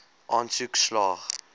aansoek slaag